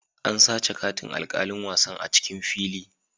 An sace katin alkalin wasan a'cikin fili.